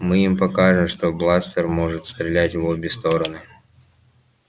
мы им покажем что бластер может стрелять в обе стороны